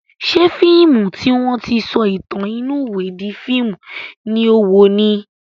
Ṣé fíìmù tí wọ́n ti sọ ìtàn inú ìwé di fíìmù ni o wò ni?